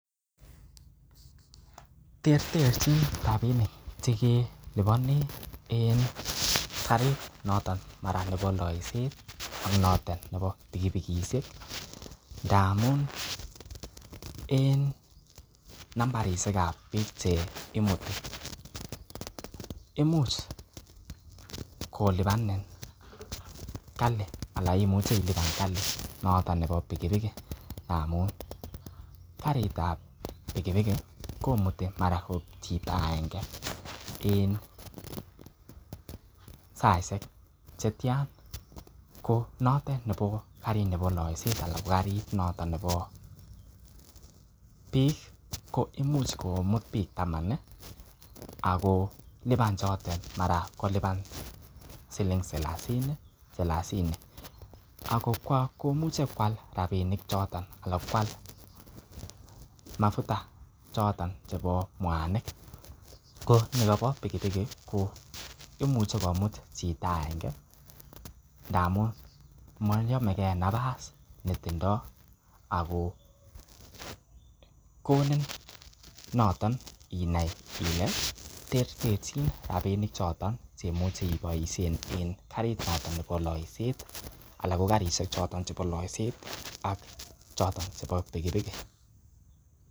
Terterchin rabinik che keliponi en karit noton mara nebo looiset ak noton nebo pikipikishek ngamun en nambaishek ab biikc che imuti, imuch kolipanini ana imuche ilipan kali noton nebo pikipikit ngamun karit ab pikpikit komuti mara ot chito agenge en saishek che tyan konotet ko karit nebo looiset anan ko karit noton nebo biik ko imuch komut biik taman ago kolipan chotet mara kolipan siling salasini ak kooche koalrabinik choto ala koal mafuta choto chebo mwanik ko nikobo pikipikiit koimuche komut chito agenge ndamun moyomege nafas netindo ago konin noton inai ile terterchin rabinik choton chemuche iboisien enkarit ab nebo loiset ak choto chebo pikpikit.